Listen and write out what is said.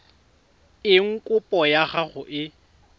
eng kopo ya gago e